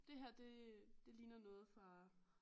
Det her det det ligner noget fra